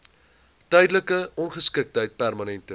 tydelike ongeskiktheid permanente